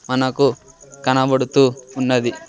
మనకు కనబడుతూ ఉన్నది.